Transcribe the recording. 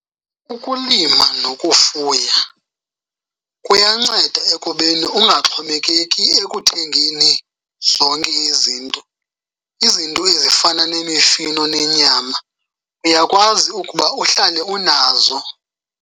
Ukulima nokufuya kuyanceda ekubeni ungaxhomekeki ekuthengeni zonke izinto. Izinto ezifana nemifino nenyama uyakwazi ukuba uhlale unazo.